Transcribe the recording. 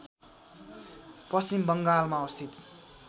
पश्चिम बङ्गालमा अवस्थित